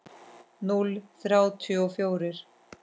Núll þrjátíu og fjórir.